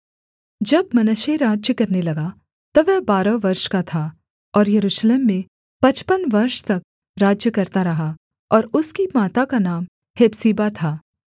जब मनश्शे राज्य करने लगा तब वह बारह वर्ष का था और यरूशलेम में पचपन वर्ष तक राज्य करता रहा और उसकी माता का नाम हेप्सीबा था